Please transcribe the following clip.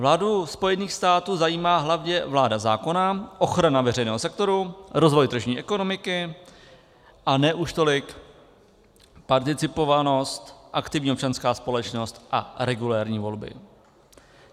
Vládu Spojených států zajímá hlavně vláda zákona, ochrana veřejného sektoru, rozvoj tržní ekonomiky a ne už tolik participovanost, aktivní občanská společnost a regulérní volby.